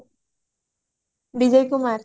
Bijay Kumar